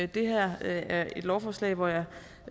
det her er et lovforslag hvor jeg